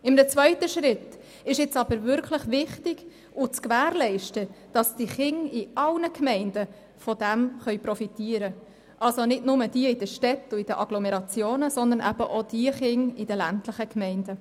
In einem zweiten Schritt ist es nun wichtig, zu gewährleisten, dass Kinder in allen Gemeinden davon profitieren können, also nicht nur jene in den Städten und Agglomerationen, sondern auch Kinder in ländlichen Gemeinden.